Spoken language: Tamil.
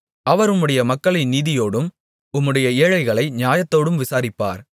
அவர் உம்முடைய மக்களை நீதியோடும் உம்முடைய ஏழைகளை நியாயத்தோடும் விசாரிப்பார்